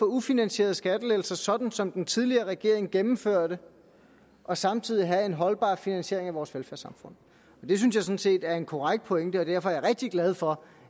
ufinansierede skattelettelser sådan som den tidligere regering gennemførte og samtidig have en holdbar finansiering af vores velfærdssamfund det synes jeg sådan set er en korrekt pointe og derfor er jeg rigtig glad for